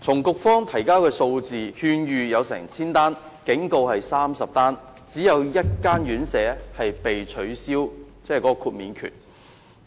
局方提交的數字顯示，局方曾發出1000多次勸諭及30次警告，只有1間院舍被撤銷豁免證明書。